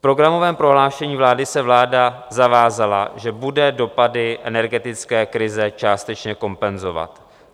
V programovém prohlášení vlády se vláda zavázala, že bude dopady energetické krize částečně kompenzovat.